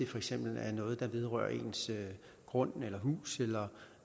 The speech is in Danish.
for eksempel er noget der vedrører ens grund hus eller